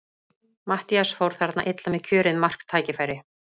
Matthías fór þarna illa með kjörið marktækifæri.